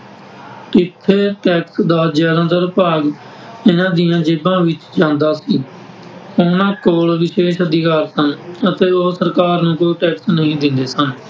ਟੀਥੇ tax ਦਾ ਜ਼ਿਆਦਾਤਰ ਭਾਗ ਇਹਨਾਂ ਦੀਆਂ ਜੇਬਾਂ ਵਿੱਚ ਜਾਂਦਾ ਸੀ । ਉਹਨਾਂ ਕੋਲ ਵਿਸ਼ੇਸ਼ ਅਧਿਕਾਰ ਸਨ ਅਤੇ ਉਹ ਸਰਕਾਰ ਨੂੰ ਕੋਈ ਟੈਕਸ ਨਹੀਂ ਦਿੰਦੇ ਸਨ ।